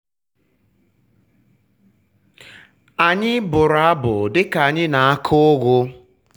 anyị bụrụ abụ dika anyị na-akụ ugu.